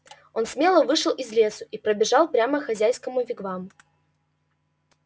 он смело вышел из лесу и пробежал прямо хозяйскому вигвам